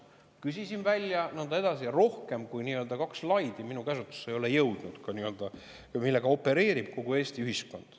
Küsisin need välja ja nõnda edasi, aga minu käsutusse ei ole jõudnud rohkemat kui kaks slaidi, millega opereerib kogu Eesti ühiskond.